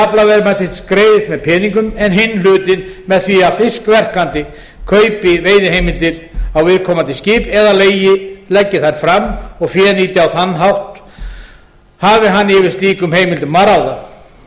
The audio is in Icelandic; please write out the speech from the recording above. aflaverðmætis greiðist með peningum en hinn hlutinn með því að fiskverkandi kaupi veiðiheimildir á viðkomandi skip eða leggi þær fram og fénýti á þennan hátt hafi hann yfir slíkum heimildum að ráða